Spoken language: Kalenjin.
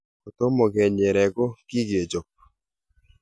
kotomo kenyere, ko kikakechop